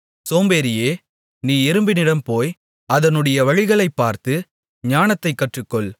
சோம்பேறியே நீ எறும்பினிடம் போய் அதனுடைய வழிகளைப் பார்த்து ஞானத்தைக் கற்றுக்கொள்